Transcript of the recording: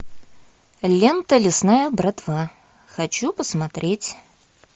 лента лесная братва хочу посмотреть